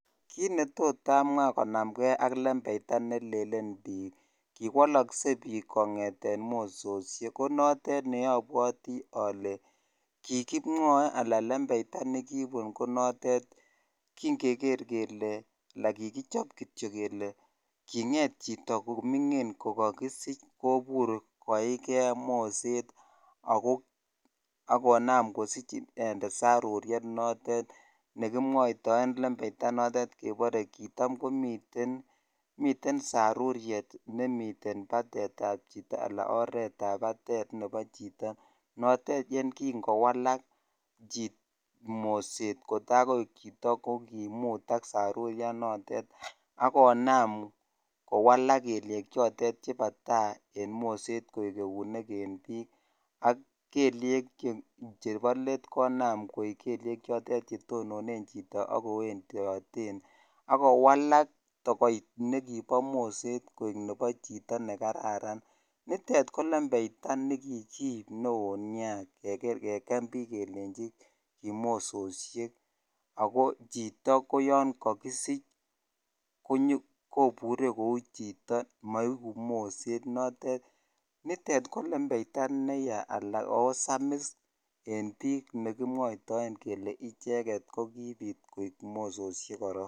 Kit netot amwa konamgei ak lembeitai nemwoe bik kole kiwolosen bik kongeten mososoek ko notet neobwoti ole kimwoe ala lembeitai notetkin kin kekre kityok ala kinget chito komingin kokokisich kobur koikei moset ak konam inendet kosich saruryet ne kimwoitoen lembritai notet kebore kitam koniten sarryey nemiten batet ab chito ala oret ab batet nebo chito notet ne kin kowslak most kotai koik chito ko kimutak saryanoton ak konam kowalak eunik chotet chebo tai en moset koi eunik en bik ko kelnyek chbo let konam koik kelyek chotet chetonon chitob kowendoden ak kowakak tokoch nekibo moset koik nebo chiton ne kararan nitet ko lembeita ne kikiib neo nia keken bik kelechi kimososhek ako choto ko yon kokisich kobure koiku chito moikuu moset notet nitet ko lembeita nrya ako saamis en bik nekimwoitoen kele icheket ko kibit koik mososhek koron.